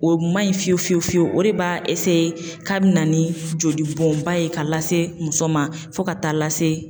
O man ɲi fiyewu fiyewu o de b'a k'a bina ni joli bɔnba ye ka lase muso ma fo ka taa lase